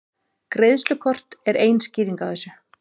Greiðslukort eru ein skýringin á þessu.